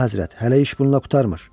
Əlahəzrət, hələ iş bununla qurtarmır.